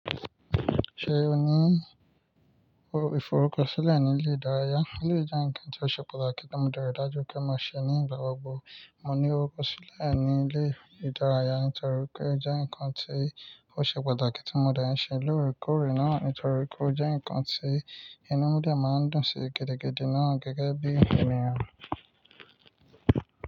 Ṣé o ní ìfọrúkọ sílẹ̀ ní ilé ìdárayá? Ó jẹ́ nǹkan tó ṣe pàtàkì tí mo dẹ̀ rí dájú pé màá ṣe ní ìgbàgbogbo. Mo ní orúkọ sílẹ̀ ní ilé ìdárayá nítorí pé ó jẹ́ nǹkan tí ó ṣe pàtàkì tí mo dẹ̀ ń ṣe lóòrèkóòrè náà. Nítorí pé ó jẹ́ nǹkan tí inú mì dè màá ń dùn sí gidigidi náà gẹ́gẹ́ bí ènìyàn.